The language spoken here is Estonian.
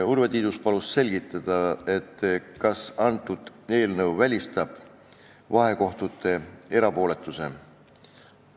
Urve Tiidus palus selgitada, kas eelnõu välistab seaduseks saamise korral vahekohtute erapooletuse.